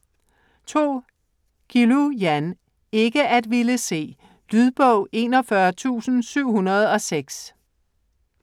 Guillou, Jan: Ikke at ville se Lydbog 41706